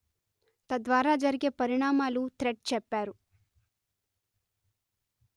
తద్వారా జరిగే పరిణామాలూ థ్రెడ్ చెప్పారు